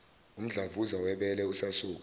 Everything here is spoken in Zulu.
umdlavuza webele usasuka